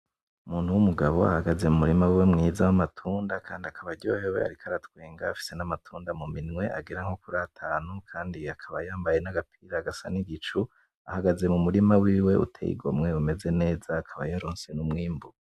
Umuntu w'umugabo ahagaze mumurima wiwe mwiza w'amatunda kandi akaba aryohewe ariko aratwenga afise n'amatunda muminwe agera nko kur'atananu kandi akaba yambaye n'agapira gasa n'igicu ahagaze mumurima wiwe uteye igomwe Umeze neza akaba yaronse n'umwimbu